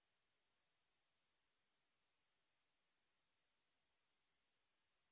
spoken tutorial প্রকল্পর দল কথ্য টিউটোরিয়াল গুলি ব্যবহার করে ওয়ার্কশপ সঞ্চালন করে